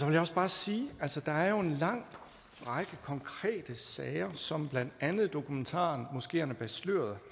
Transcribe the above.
jeg også bare sige at der er en lang række konkrete sager som blandt andet dokumentaren moskeerne bag sløret